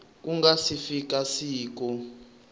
ku nga si fika siku